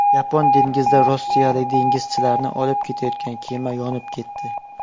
Yapon dengizida rossiyalik dengizchilarni olib ketayotgan kema yonib ketdi.